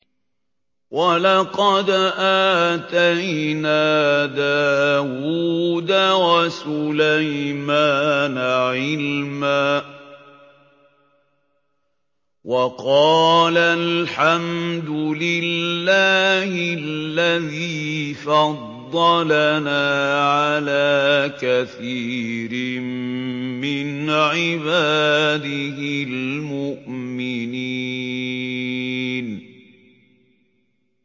وَلَقَدْ آتَيْنَا دَاوُودَ وَسُلَيْمَانَ عِلْمًا ۖ وَقَالَا الْحَمْدُ لِلَّهِ الَّذِي فَضَّلَنَا عَلَىٰ كَثِيرٍ مِّنْ عِبَادِهِ الْمُؤْمِنِينَ